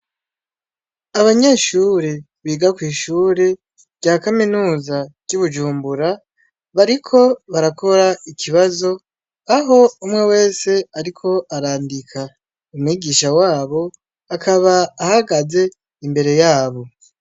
Abanyeshure biga kw'ishure rya kaminuza ry'ibujumbura ,bariko barakora ikibazo aho umwe wese ariko arandika, umwigisha wabo akaba ahagaze imbere yabo.